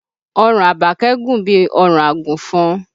Ọrùn Àbákẹ́ gùn bí ọrùn àgùnfọn